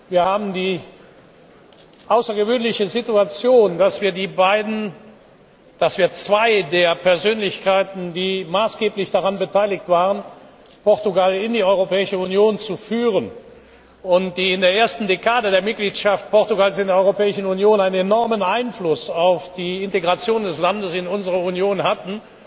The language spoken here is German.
Wir haben die außergewöhnliche Situation, dass wir zwei der Persönlichkeiten, die maßgeblich daran beteiligt waren, Portugal in die Europäische Union zu führen, und die in der ersten Dekade der Mitgliedschaft Portugals in der Europäischen Union einen enormen Einfluss auf die Integration des Landes in unsere Union hatten,